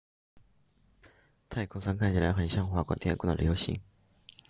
太空舱看起来很像划过天空的流星